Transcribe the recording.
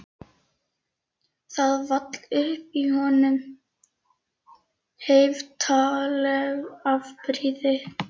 Það vall upp í honum heiftarleg afbrýði